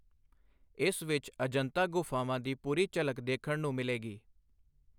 ਇਸ ਵਿੱਚ ਅਜੰਤਾ ਗੁਫ਼ਾਵਾਂ ਦੀ ਪੂਰੀ ਝਲਕ ਦੇਖਣ ਨੂੰ ਮਿਲੇਗੀ।